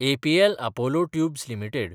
APL Apollo tubes limited